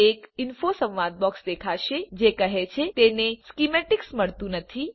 એક ઇન્ફો સંવાદ બોક્સ દેખાશે જે કહે છે તેને સ્કિમેટિક્સ મળતું નથી